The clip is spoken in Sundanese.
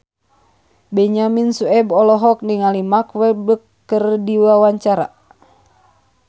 Benyamin Sueb olohok ningali Mark Walberg keur diwawancara